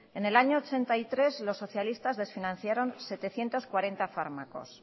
en el año mil novecientos ochenta y tres los socialistas desfinanciaron setecientos cuarenta fármacos